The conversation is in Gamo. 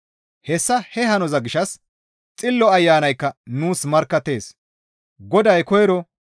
Hessa he hanoza gishshas Xillo Ayanaykka nuus markkattees. Goday koyro,